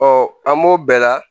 Ɔ an b'o bɛɛ la